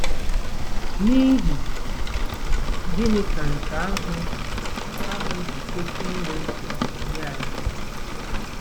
N'ihi gịnị ka nke ahụ ahụ ji kwesị inwe nchegbu nye anyị?